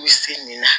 U se nin na